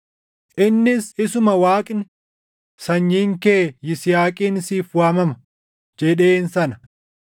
innis isuma Waaqni, “Sanyiin kee Yisihaaqiin siif waamama” + 11:18 \+xt Uma 21:12\+xt* jedheen sana.